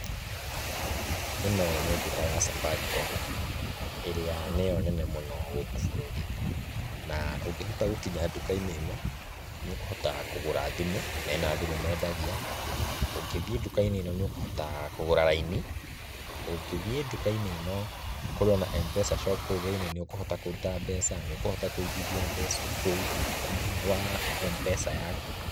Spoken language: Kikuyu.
Ĩno nĩ nduka ya Safaricom, ĩrĩa nĩyo nene mũno gũkũ bũrũri-inĩ. Na ũngĩhota gũkinya nduka-inĩ ĩno, nĩ ũkũhota kũgũra thimũ, mena thimũ mendagia, ũngĩthiĩ nduka-inĩ ĩno nĩ ũkũhota kũgũra raini, ũngĩthiĩ nduka-inĩ ĩno kũrĩo na M-pesa shop kũu thĩini, nĩũkũhota kũruta mbeca, nĩũkũhota kũigithia mbeca o kũu thĩini wa M-pesa yaku.